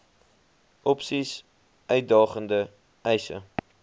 opsies uitdagende eise